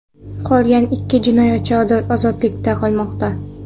Qolgan ikki jinoyatchi ozodlikda qolmoqda.